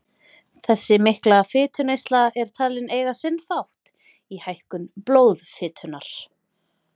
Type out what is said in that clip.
Þessi mikla fituneysla er talin eiga sinn þátt í hækkun blóðfitunnar.